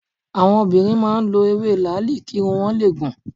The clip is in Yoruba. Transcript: Àwọn obìnrin máa ń lọ ewé làáàlì kí irun wọn le gùn.